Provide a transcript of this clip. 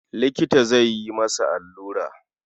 Likita zai yi masa allura.